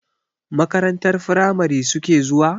Makarantar firamari suke zuwa?